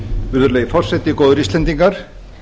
virðulegi forseti góðir íslendingar